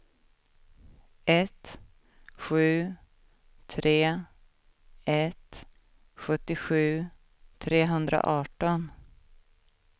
ett sju tre ett sjuttiosju trehundraarton